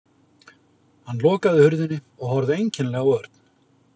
Hann lokaði hurðinni og horfði einkennilega á Örn.